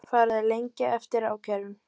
Farið að lengja eftir ákærum